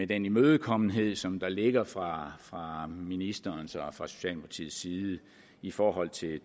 den imødekommenhed som der ligger fra fra ministerens og fra socialdemokratiets side i forhold til det